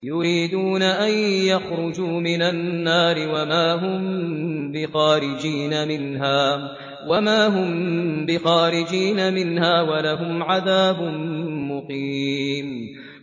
يُرِيدُونَ أَن يَخْرُجُوا مِنَ النَّارِ وَمَا هُم بِخَارِجِينَ مِنْهَا ۖ وَلَهُمْ عَذَابٌ مُّقِيمٌ